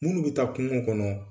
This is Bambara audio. Munnu bi taa kungo kɔnɔ